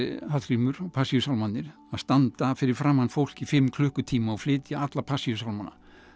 Hallgrímur og Passíusálmarnir að standa fyrir framan fólk í fimm klukkutíma og flytja alla Passíusálmana